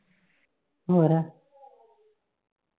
ਹੋਰ